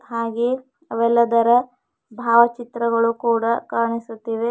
ಹಾಗೇ ಅವೆಲ್ಲದರ ಭಾವ ಚಿತ್ರಗಳು ಕೂಡ ಕಾಣಿಸುತ್ತಿವೆ.